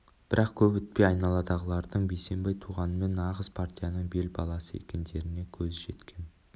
бірақ көп өтпей айналасындағылардың бейсенбай туғанмен нағыз партияның бел баласы екендеріне көзі жеткен